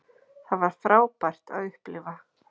Það var frábært að upplifa